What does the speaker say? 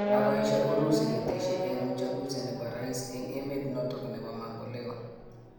Kakoesha urusi keteshi eng uchunguzi nepo rais eng emet notok mambo leo